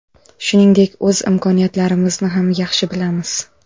Shuningdek, o‘z imkoniyatlarimizni ham yaxshi bilamiz.